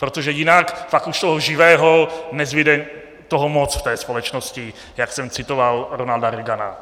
Protože jinak pak už toho živého... nezbyde toho moc v té společnosti, jak jsem citoval Ronalda Reagana.